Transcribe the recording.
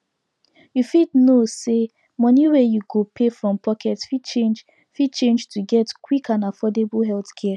you fit know say money wey you go pay from pocket fit change fit change to get quick and affordable healthcare